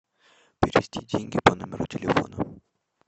перевести деньги по номеру телефона